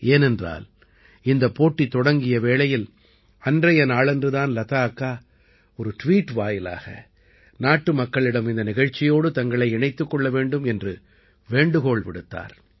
ஏனென்றால் இந்தப் போட்டி தொடங்கிய வேளையில் அன்றைய நாளன்று தான் லதா அக்கா ஒரு ட்வீட் வாயிலாக நாட்டுமக்களிடம் இந்த நிகழ்ச்சியோடு தங்களை இணைத்துக் கொள்ள வேண்டும் என்று வேண்டுகோள் விடுத்தார்